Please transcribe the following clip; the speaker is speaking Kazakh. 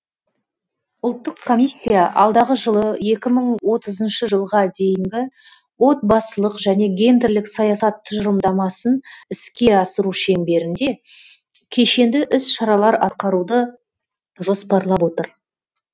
ұлттық комиссия алдағы жылы екі мың отызыншы жылға дейінгі отбасылық және гендерлік саясат тұжырымдамасын іске асыру шеңберінде кешенді іс шаралар атқаруды жоспарлап отыр